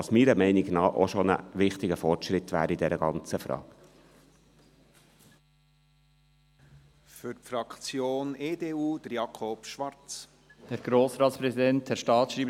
Meiner Meinung nach wäre dies bereits ein wichtiger Fortschritt in dieser Sache.